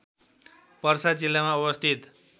पर्सा जिल्लामा अवस्थित